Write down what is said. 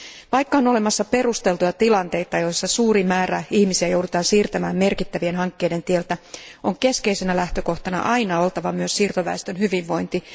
Vaikka on olemassa perusteltuja tilanteita, joissa suuri määrä ihmisiä joudutaan siirtämään merkittävien hankkeiden tieltä, on keskeisenä lähtökohtana aina oltava myös siirtoväestön hyvinvointi.